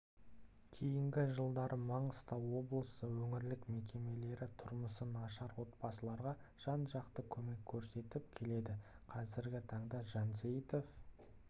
кейінгі жылдары маңғыстау облысы өңірлік мекемелері тұрмысы нашар отбасыларға жан-жақты көмек көрсетіп келеді қазіргі таңда жансейітов